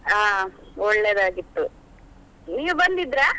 ಹಾ ಒಳ್ಳೆದಾಗಿತ್ತು ನೀವು ಬಂದಿದ್ರಾ?